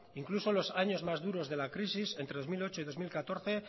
incluso en los años más duros de la crisis entre dos mil ocho y dos mil catorce